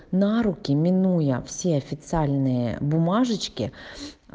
на руки минуя все официальные бумажечки